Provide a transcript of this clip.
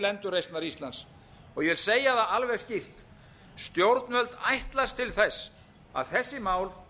endurreisnar íslands ég segi það alveg skýrt stjórnvöld ætlast til þess að þessi mál